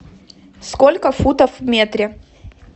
сколько футов в метре